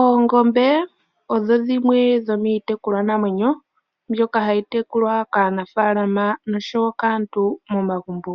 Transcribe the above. Oongombe odho dhimwe dhomiitekulwa namwenyo, mbyoka hayi tekulwa kaanafaalama noshowo kaantu momagumbo.